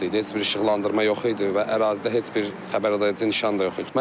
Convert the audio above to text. Heç bir işıqlandırma yox idi və ərazidə heç bir xəbərdaredici nişan da yox idi.